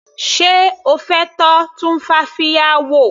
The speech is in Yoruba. Sé O fẹ́ tọ́ tumfafiya wò.